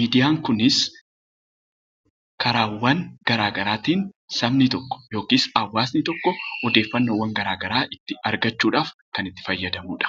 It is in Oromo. Miidiyaan kunis karaawwan garaagaraatiin sabni tokko (hawaasni tokko) odeeffannoowwan garaagaraa ittiin argachuudhaaf kan itti fayyadamuu dha.